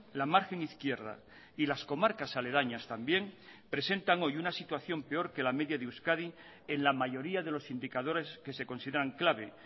la margen izquierda y las comarcas aledañas también presentan hoy una situación peor que la media de euskadi en la mayoría de los sindicadores que se consideran clave